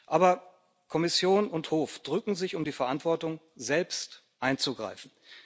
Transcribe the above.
Aber Kommission und Hof drücken sich um die Verantwortung, selbst einzugreifen.